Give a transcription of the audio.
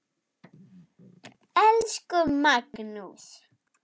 Elsku Magnús.